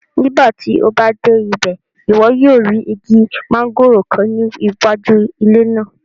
Nigbati o ba de ibẹ, iwọ yoo ri igi mangoro kan ni iwaju ile naa